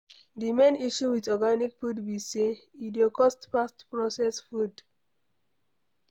Di main issue with organic food be sey, e dey cost pass processed food